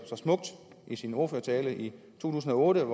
så smukt i en ordførertale i to tusind og otte